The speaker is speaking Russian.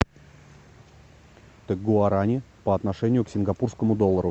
гуарани по отношению к сингапурскому доллару